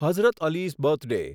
Hazrat Ali's birthday